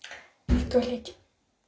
и в туалете